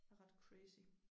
Er ret crazy